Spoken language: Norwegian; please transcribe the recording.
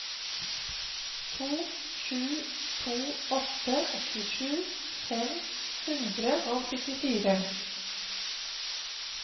to sju to åtte åttisju fem hundre og syttifire